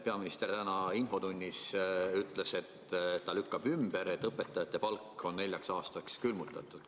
Peaminister ütles täna infotunnis, et ta lükkab ümber, et õpetajate palk on neljaks aastaks külmutatud.